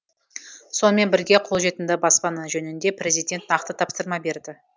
сонымен бірге қолжетімді баспана жөнінде президент нақты тапсырма берді